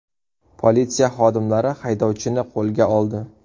Politsiya xodimlari haydovchini qo‘lga oldi.